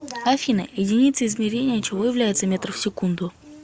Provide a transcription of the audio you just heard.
афина единицей измерения чего является метр в секунду